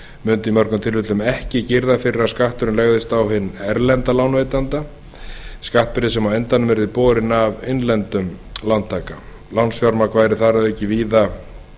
mundu í mörgum tilvikum ekki girða fyrir að skatturinn legðist á hinn erlenda lánveitanda skattbyrði sem á endanum yrði borin af innlendum lántaka lánsfjármagns væri þar að auki víðar